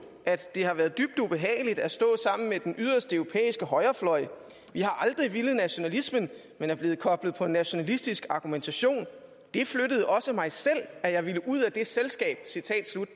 at det har været dybt ubehageligt at stå sammen med den yderste europæiske højrefløj vi har aldrig villet nationalismen men er blevet koblet på en nationalistisk argumentation det flyttede også mig selv at jeg ville ud af det selskab